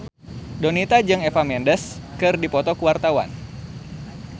Donita jeung Eva Mendes keur dipoto ku wartawan